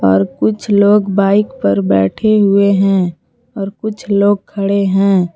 और कुछ लोग बाइक पर बैठे हुए हैं और कुछ लोग खड़े हैं।